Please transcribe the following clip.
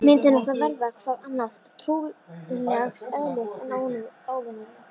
Myndin átti að verða- hvað annað- trúarlegs eðlis, en óvenjuleg.